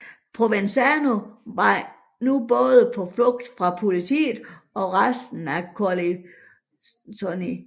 Provenzano var nu både på flugt fra politiet og resten af Corleonesi